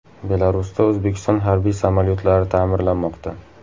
Belarusda O‘zbekiston harbiy samolyotlari ta’mirlanmoqda.